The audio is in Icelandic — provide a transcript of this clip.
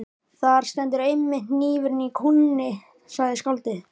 Þar stendur einmitt hnífurinn í kúnni, sagði skáldið.